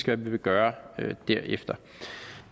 hvad vi vil gøre